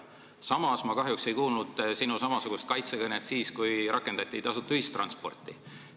Samas ei kuulnud ma kahjuks sinu samasugust kaitsekõnet siis, kui rakendati tasuta ühistransporti.